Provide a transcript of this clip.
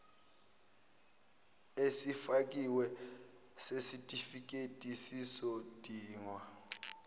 esifakiwe sesitifiketi sesidingo